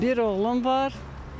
Bir oğlum var.